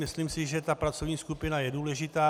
Myslím si, že ta pracovní skupina je důležitá.